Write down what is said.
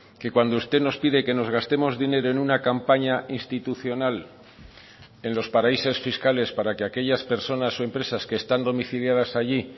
que cuando usted nos pide que nos gastemos dinero en una campaña institucional en los paraísos fiscales para que aquellas personas o empresas que están domiciliadas allí